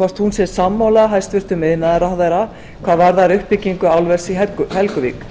hvort hún sé sammála hæstvirtur iðnaðarráðherra hvað varðar uppbyggingu álvers í helguvík